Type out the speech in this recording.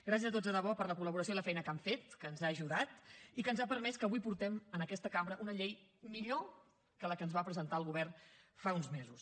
gràcies a tots de debò per la col·laboració i la feina que han fet que ens ha ajudat i que ens ha permès que avui portem en aquesta cambra una llei millor que la que ens va presentar el govern fa uns mesos